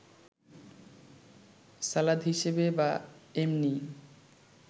সালাদ হিসেবে বা এমনিই